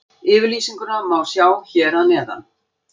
Yfirlýsinguna má sjá hér að neðan.